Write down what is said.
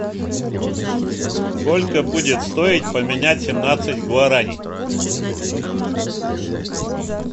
сколько будет стоить поменять семнадцать гуарани